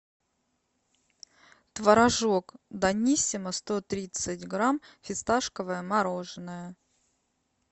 творожок даниссимо сто тридцать грамм фисташковое мороженое